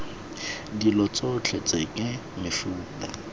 dilo tsotlhe tse ke mefuta